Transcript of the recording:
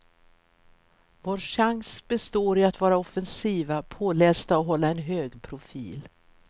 Vår chans består i att vara offensiva, pålästa och hålla en hög profil.